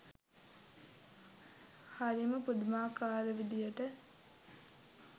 හරිම පුදුමාකාර විදියට